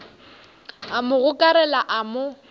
a mo gokarela a mo